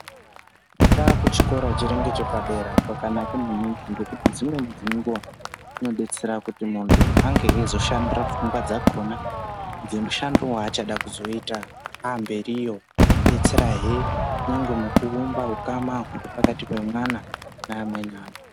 Kufunda kuchikora chiri ngechepadera kwakanaka maningi ngekuti dzimweni dzenguwa kunodetsera kuti munthu ange eizoshandira pfungwa dzakona dzemushando waachazoda kuita aamberiyo odetserahe kunyangwe mukuumba hukama huri pakati pemwana neamweni vanthu.